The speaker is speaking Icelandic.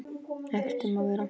Ekkert um að vera.